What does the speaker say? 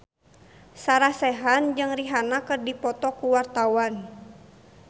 Sarah Sechan jeung Rihanna keur dipoto ku wartawan